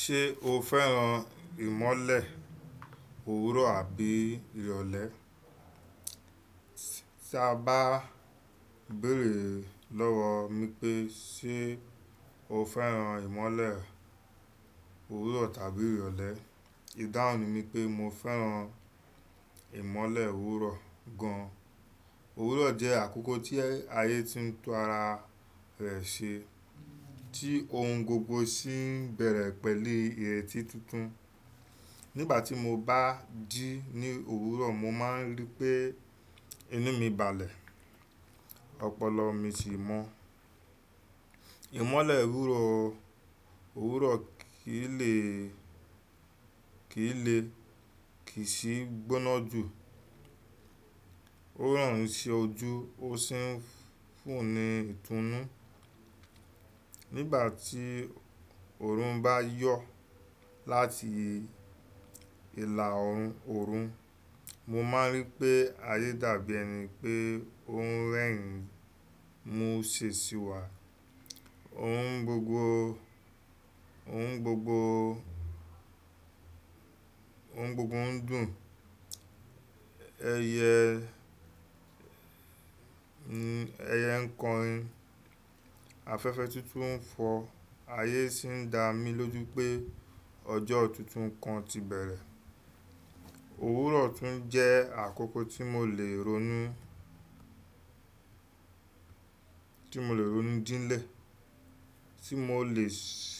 Ṣé o fẹ́ràn ìmọ́lẹ̀ òwúrọ̀ àbí ìrọ̀lẹ́? Tí a bá béèrè lọ́wọ́ mi pé ṣé o fẹ́ràn ìmọ́lẹ̀ òwúrọ̀ tàbí ìrọ̀lẹ́? Ìdáhùn mi ni pé mo fẹ́ràn ìmọ́lẹ̀ òwúrọ̀ gan. Òwúrọ̀ jẹ́ àkókò tí ayé ti ń tún ara rẹ̀ ṣe, tí oun gbogbo sì ń bẹ̀rẹ̀ pẹ̀lú ìrètí tuntun. Nígbà tí mo bá dí ní òwúrọ̀, mo máa ń rí pé inú mi balẹ̀, ọpọlọ mi sì mọ́. Ìmọ́lẹ̀ ìwúró, òwúrọ̀ kì í lè, kì í lè, kì í sì gbóná jù. Ó ràn mí se ojú, ó sì ń fún ni ìtúnú. Nígbà tí òòrùn bá yọ láti ìlà òòrùn, mo máa ń rí pé ayé dàbí ẹni pé onun rẹ̀ ń mú un si sí wà. Ohun gbogbo, ohun gbogbo, ohun gbogbo ń dùn, ẹyẹ ń, ẹyẹ ń kọrin, afẹ́fẹ́ tuntun ń fọ, ayé sì ń dá mí lójú pé ọjọ́ tuntun kan ti bẹ̀rẹ̀. Òwúrọ̀ tún jẹ́ àkókò tí mo lè ronú, tí mo lè ronú díńlẹ̀, tí mo lè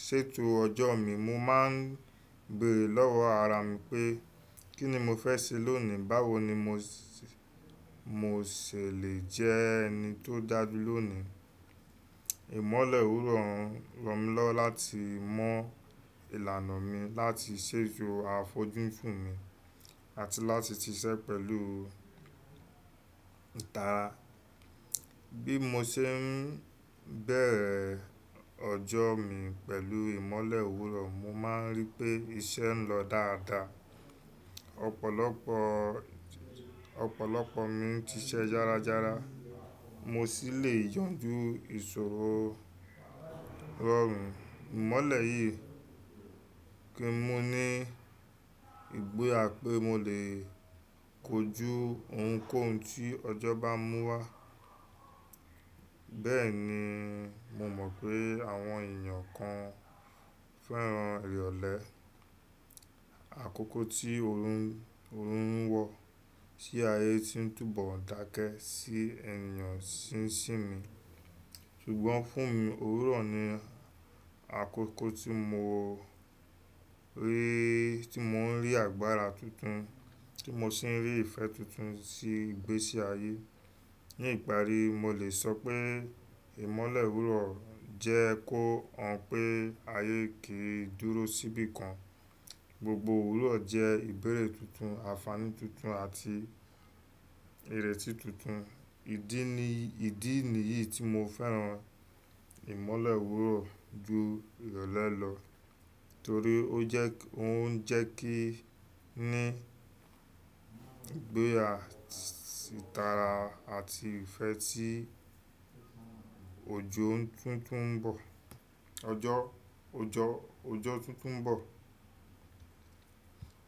ṣètò ọjọ́ mi. Mo máa ń bèrè lọ́wọ́ ara mi pé kí ni mo fẹ́ ṣe lónìí? Báwo ni mo sè, mo sè lé jẹ ẹni tó dàjú lónìí? Ìmọ́lẹ̀ òwúrọ̀ ń ràn mí lọ́wọ́ láti mọ ìlànà mi láti ṣètò àfojú sún mi àti láti ṣiṣẹ́ pẹ̀lú ìtara. Bí mo ṣe ń bẹ̀rẹ̀ ọjọ́ mi pẹ̀lú ìmọ́lẹ̀ ìwúró, mo máa ń rí pé iṣẹ́ ń lọ dáadáa. Ọ̀pọ̀lọpọ̀, ọ̀pọ̀lọpọ̀ mi ṣiṣẹ́ yára yára. Mo sì lè yanjú ìṣòro rọrùn. Ìmọ́lẹ̀ yìí kì ń mú ní ìgboyà pé mo lè kojú ounkóun tí ọjọ́ bá mú wá. Bẹ́ẹ̀ ni mo mọ̀ pé àwọn èèyàn kan fẹ́ràn ìrọ̀lẹ́. Àkókò tí òòrùn, òòrùn ń wọ sí ayé tí ń túbọ̀ ń dákẹ́ sí ẹnìyàn ṣínṣín mi. Ṣùgbọ́n fún mi, òwúrọ̀ ni àkókò tí mo rí, tí mò ń rí agbára tuntun, tí mo sì ń rí ìfẹ́ tuntun sí ìgbésí ayé. Ní ìparí, mo lè sọ pé ìmọ́lẹ̀ òwúrọ̀ jẹ́ kó hàn pé ayé kì í dúró síbi kan. Gbogbo òwúrọ̀ jẹ́ ìbẹ̀rẹ̀ tuntun, àǹfààní tuntun àti ìrètí tuntun. Ídì ni, ìdí nìyí tí mo fẹ́ràn ìmọ́lẹ̀ òwúrọ̀ ju ìrọ̀lẹ́ lọ. Nítorí ó jẹ́, ó ń jẹ́ kí ní ìgbéyàsí ìtara àti ìfẹ́ tí òjò ń tuntun ń bọ̀. Ọjọ́, ọjọ́, ọjọ́ tuntun ń bọ̀.